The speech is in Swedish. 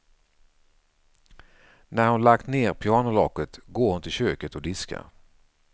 När hon lagt ner pianolocket går hon till köket och diskar.